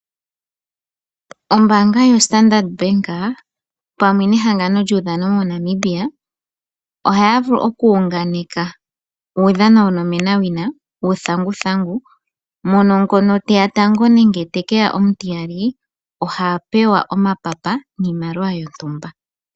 Ombaanga yoStandard pamwe nehangano lyuudhano moNamibia, ohaya vulu okuyunganeka uudhano wonomenawina wuuthanguthangu. Ngono teya gotango nenge omutiyali ohapewa epapa niimaliwa yontumba.